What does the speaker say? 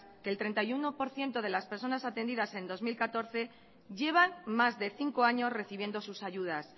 que el treinta y uno por ciento de las personas atendidas en el dos mil catorce llevan más de cinco años recibiendo sus ayudas